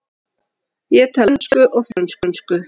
Björk er fræg íslensk söngkona.